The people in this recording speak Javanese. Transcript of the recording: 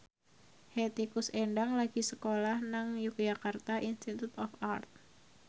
Hetty Koes Endang lagi sekolah nang Yogyakarta Institute of Art